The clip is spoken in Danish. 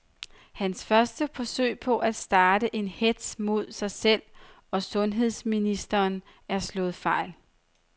Hans første forsøg på at starte en hetz mod sig selv og sundheds ministeren er slået fejl.